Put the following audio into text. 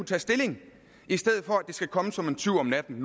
tage stilling i stedet for at det skal komme som en tyv om natten